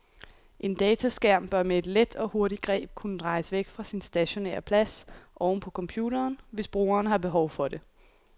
En dataskærm bør med et let og hurtigt greb kunne drejes væk fra sin stationære plads oven på computeren, hvis brugeren har behov for det.